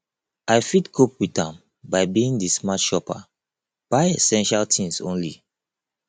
i fit cope with am by being di smart shopper buy essential things only